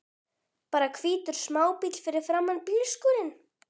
Bara hvítur smábíll fyrir framan bílskúrinn!